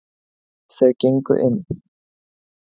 Þau gengu inn.